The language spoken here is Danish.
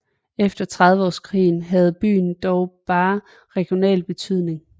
Efter Trediveårskrigen havde byen dog bare regional betydning